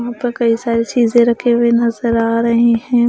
पर कई सारी चीजें रखे हुए नजर आ रहे हैं।